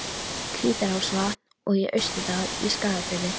Hvítárvatns og í Austurdal í Skagafirði.